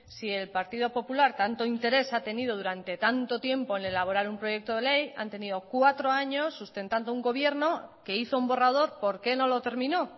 si el partido popular tanto interés ha tenido durante tanto tiempo en elaborar un proyecto de ley han tenido cuatro años sustentando un gobierno que hizo un borrador por qué no lo terminó